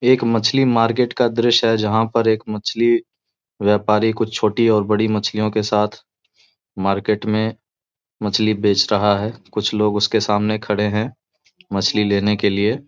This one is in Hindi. एक मछली मार्केट का दृश्य है जहां पर एक मछली व्यापारी कुछ छोटी और बड़ी मछलियों के साथ मार्केट में मछली बेच रहा है कुछ लोग उसके सामने खड़े हैं मछली लेने के लिए |